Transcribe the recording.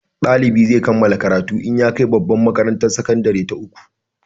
Dalibi zai kammala karatu in ya kai babbar makarantar sakandare ta uku